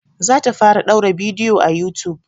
Za ta fara ɗaura bidiyo a youtube